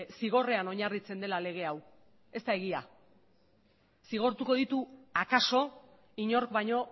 zigorrean oinarritzen dela lege hau ez da egia zigortuko ditu akaso inork baino